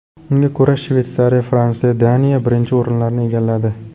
Unga ko‘ra, Shveysariya, Fransiya va Daniya birinchi o‘rinlarni egalladi.